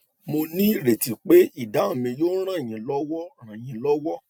mo ní ìrètí pé ìdáhùn mi yóò ràn yín lọwọ ràn yín lọwọ